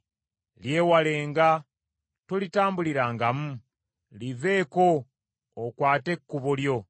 Lyewalenga, tolitambulirangamu, liveeko okwate ekkubo lyo.